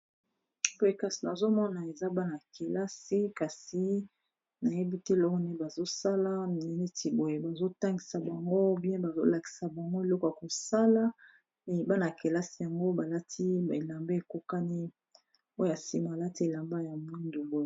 Boye kasi nazomona eza bana-kelasi kasi nayebi tiloo ne bazosala neneti boye bazotangisa bango bien bazolakisa bango eloko ya kosala aye bana-kelasi yango balati belamba ekokani oya nsima balati elamba ya mwindu boye